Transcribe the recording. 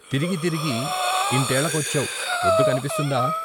తిరిగి తిరిగి ఇంతేళకొచ్చావ్! పొద్దు కన్పిసుందా?